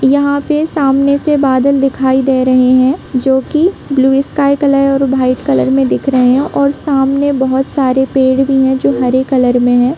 यहाँ पे सामने से बादल दिखाई दे रहे हैं जोकि ब्लू स्काई और व्हाइट कलर में दिख रहे है और सामने बहुत सरे पेड़ भी है जोकि हरे कलर में है।